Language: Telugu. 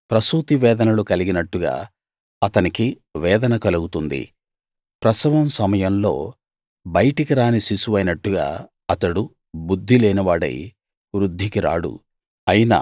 ప్రసూతి వేదనలు కలిగినట్టుగా అతనికి వేదన కలుగుతుంది ప్రసవం సమయంలో బయటికి రాని శిశువైనట్టుగా అతడు బుద్ధి లేనివాడై వృద్ధికి రాడు